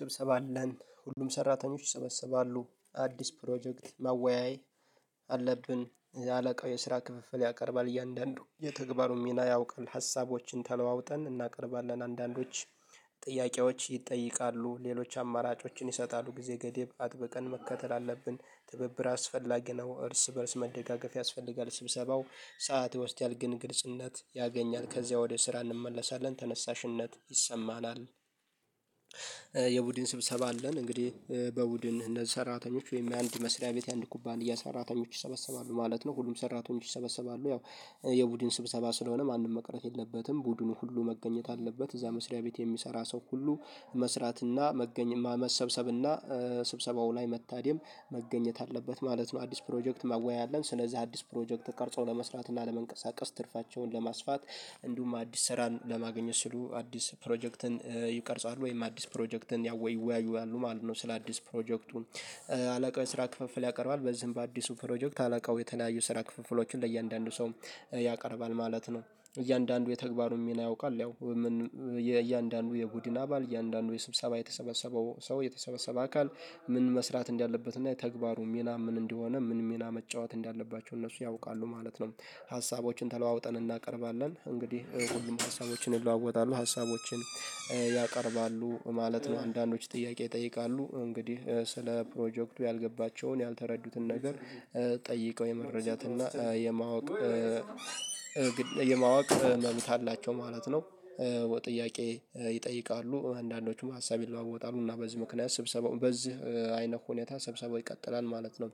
ስብሰባ አለን ሁሉም ሰራተኞች ይሰበሰባሉ አዲስ ፕሮጀክት መወያይ አለብን። የአለቃው የስራ ክፍፍል ያቀርባል እያንዳንዱ የተግባሩን ሚና ያውቃል። ሀሳቦችን ተለዋውጠን እናቀርባለን አንዳንዶች ጥያቄዎች ይጠይቃሉ ሌሎች አማራጮችን ይሰጣሉ ጊዜ ገደብ አጥብቀን መከተል አለብን። ትብብር አስፈላጊ ነው እርስ በእርስ መደጋገፍ ያስፈልጋል። ስብሰባው ሰዓት ይወስዳል ግን ግልጽነት ያገኛል ከዚያ ወደ ስራ እንመለሳለን ተነሳሽነት ይሰማናል። የቡድን ስብሰባ አለን እንግዲህ በቡድን እነዚህ ሰራተኞች ወይም የአንድ መስሪያ ቤት የአንድ ኩባንያ ሰራተኞች ይሰበሰባሉ ማለት ነው። ሁሉም ሰራተኞች ይሰበሰባሉ ያው የቡድን ስብሰባ ስለሆነ ማንም መቅረት የለበትም ቡድኑ ሁሉ መገኘት አለበት። እዛ መስሪያ ቤት የሚሰራ ሰው ሁሉ መስራትና መገኘ መሰብሰብና ስብሰባው ላይ መታደም መገኘት አለበት ማለት ነው። አዲስ ፕሮጀክት ማወያያ አለን ስለዚህ አዲስ ፕሮጀክት ቀርጾ ለመስራት እና ለመንቀሳቀስ ትርፋቸውን ለማስፋት እንዲሁም አዲስ ስራን ለማግኘት ሲሉ አዲስ ፕሮጀክትን ይቀርጻሉ ወይም አዲስ ፕሮጀክትን ያውወይ ይወያያሉ ማለት ነው። ስለ አዲስ ፕሮጀክቱ አላቃው የስራ ክፍፍል ያቀርባል በዚህም በአዲሱ ፕሮጀክት አላቃው የተለያዩ ስራ ክፍፍሎችን ለእያንዳንዱ ሰው ያቀርባል ማለት ነው። እያንዳንዱ የተግባሩን ሚና ያውቃል ያው ምን እያንዳንዱ የቡድን አባል እያንዳንዱ የስብሰባ የተሰበሰበው ሰው የተሰበሰበ አካል ምን መስራት እንዳለበት እና የተግባሩ ሚና ምን እንደሆነ ምን መጫወት እንዳለባቸው እነሱ ያውቃሉ ማለት ነው። ሀሳቦችን ተለዋውጠን እናቀርባለን እንግዲህ ሁሉም ሀሳቦችን ይለዋወጣሉ ሀሳቦችን ያቀርባሉ ማለት ነው። አንዳንዶች ጥያቄ ይጠይቃሉ እንግዲህ ስለ ፕሮጀክቱ ያልገባቸውን ያልተረዱትን ነገር ጠይቀው የመረጃትና እና የማወቅ የማወቅ መብት አላቸው ማለት ነው። ወይ ጥያቄ ይጠይቃሉ አንዳንዶቹም ሀሳብ ይለዋወጣሉ እና በዚህ ምክንያት ስብሰባው በዚህ አይነት ሁኔታ ሰብሰባው ይቀጥላል ማለት ነው።